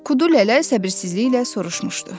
Kudu Lələ səbirsizliklə soruşmuşdu.